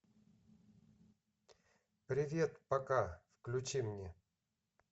привет пока включи мне